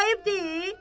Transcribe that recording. Ayıb deyil?